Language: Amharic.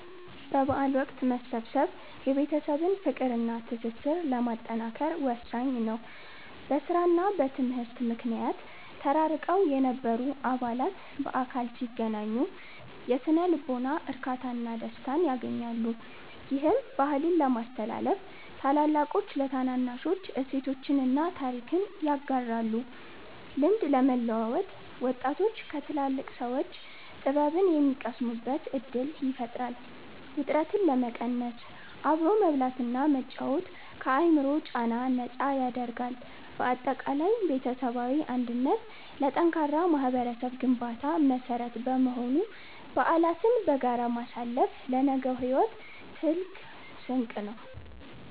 በበዓል ወቅት መሰብሰብ የቤተሰብን ፍቅርና ትስስር ለማጠናከር ወሳኝ ነው። በሥራና በትምህርት ምክንያት ተራርቀው የነበሩ አባላት በአካል ሲገናኙ የሥነ-ልቦና እርካታና ደስታን ያገኛሉ። ይህም፦ -ባህልን ለማስተላለፍ፦ ታላላቆች ለታናናሾች እሴቶችንና ታሪክን ያጋራሉ። -ልምድ ለመለዋወጥ፦ ወጣቶች ከትላልቅ ሰዎች ጥበብን የሚቀስሙበት ዕድል ይፈጥራል። -ውጥረትን ለመቀነስ፦ አብሮ መብላትና መጫወት ከአእምሮ ጫና ነፃ ያደርጋል። ባጠቃላይ ቤተሰባዊ አንድነት ለጠንካራ ማኅበረሰብ ግንባታ መሠረት በመሆኑ፣ በዓላትን በጋራ ማሳለፍ ለነገው ሕይወት ትልቅ ስንቅ ነው።